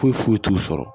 Foyi foyi t'u sɔrɔ